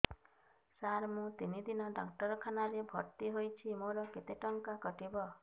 ସାର ମୁ ତିନି ଦିନ ଡାକ୍ତରଖାନା ରେ ଭର୍ତି ହେଇଛି ମୋର କେତେ ଟଙ୍କା କଟିବ